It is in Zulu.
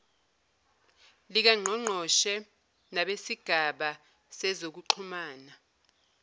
likangqongqoshe nabesigaba sezokuxhumana